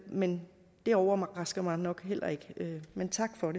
men det overrasker mig nok heller ikke men tak for